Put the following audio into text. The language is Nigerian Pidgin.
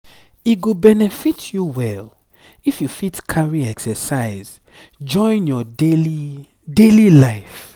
e go benefit you well if you fit carry exercise join your daily daily life